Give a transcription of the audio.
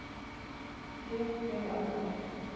Hér þegja allir.